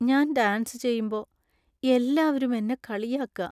ഞാൻ ഡാൻസ് ചെയ്യുമ്പോ എല്ലാവരും എന്നെ കളിയാക്കാ.